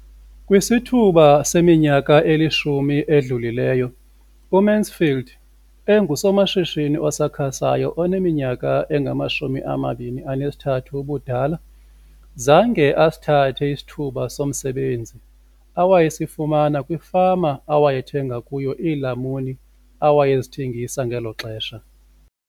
Kwisithuba seminyaka elishumi edlulileyo, uMansfield engusomashishini osakhasayo oneminyaka engama-23 ubudala, zange asithathe isithuba somsebenzi awayesifumana kwifama awayethenga kuyo iilamuni awayezithengisa ngelo xesha.